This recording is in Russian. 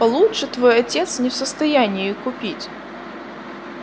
получше твой отец не в состоянии купить